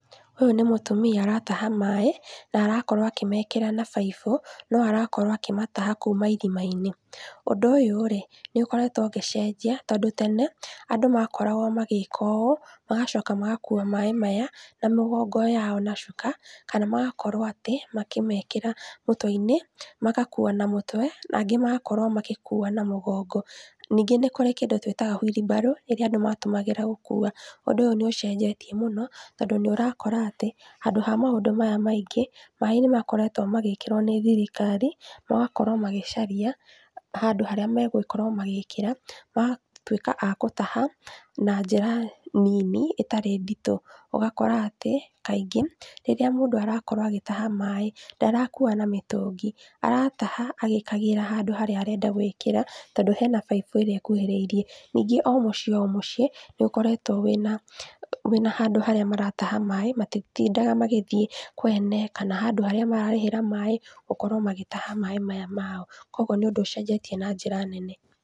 Ũyũ nĩ mũtumia arataha maĩ na arakorwo akĩmekĩra na baibũ, no arakorwo akĩmataha kuma irima-inĩ, ũndũ ũyũ rĩ, nĩũkorwtwo ũgĩcenjia tondũ tene, andũ makoragwo magĩka ũũ magacoka magakua maĩ maya, na mĩgongo yao na cuka, kana magakorwo atĩ, makĩmekĩra mũtwe-inĩ, magakua na mũtwe, nangĩ magakorwo magĩkua na mũgongo. ningĩ nĩkũrĩ kĩndũ twĩtaga huirimbarũ, ĩrĩa andũ atũmagĩra gũkua, ũndũ ũyũ nĩũcenjetie mũno, tondũ nĩũrakora atĩ, handũ ha maũndũ maya maingĩ, maĩ nĩmakoretwo magĩkĩrwo nĩ thirikari, magakorwo magĩcaria handũ harĩa megũkorwo magĩkĩra, magatwĩka a gũtaha, na njĩra nini, ĩtarĩ nditũ, ũgakora atĩ, kaingĩ, rĩrĩa mũndũ arakorwo agĩtaha maĩ, ndarakua na mĩtũngi, arataha, agĩkagĩra handũ harĩa arenda gwĩkĩra, tondũ hena baibũ ĩrĩa ĩkuhĩrĩirie, ningĩ o mũciĩ o mũciĩ, nĩũkoretwo wĩna, wĩna handũ harĩa marataha maĩ, matitindaga magĩthiĩ kwene, kana handũ harĩa mararĩhĩra maĩ, gũkorwo magĩtaha maĩ maya mao, kwoguo nĩ ũndũ ũcenjetie na njĩra nene.